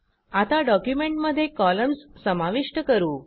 आता डॉक्युमेंटमध्ये कॉलम्स समाविष्ट करू